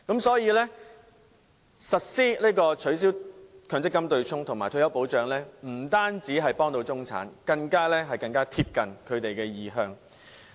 所以，實施取消強積金對沖及設立退休保障可以幫助中產，更貼近他們的意向。